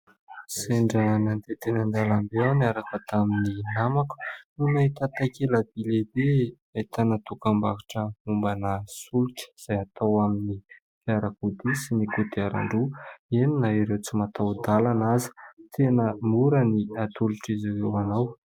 Sendra nandeha teny an-dalambe aho niaraka tamin'ny namako no nahita takela-by lehibe ahitana dokam-barotra solika izay atao amin'ny fiara sy ny kodiaran-droa eny na ireo tsy mataho-dalana aza. Tena mora ny atolotr'izy ireo ho anao